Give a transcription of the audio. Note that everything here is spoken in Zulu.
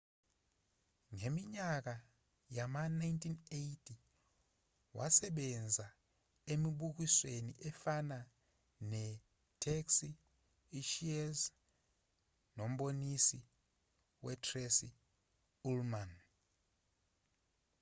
ngeminyaka yama-1980 wasebenza emibukisweni efana netaxi i-cheers nomboniso we-tracy ullman